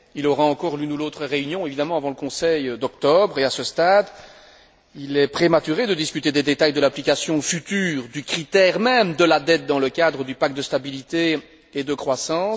Il aura encore l'une ou l'autre réunion avant le Conseil d'octobre et, à ce stade, il est prématuré de discuter des détails de l'application future du critère même de la dette dans le cadre du pacte de stabilité et de croissance.